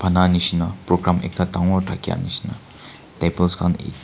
sa nisna program ekta dangor thakia nisna tables khan e--